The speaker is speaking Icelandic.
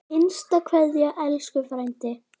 HINSTA KVEÐJA Elsku frændi.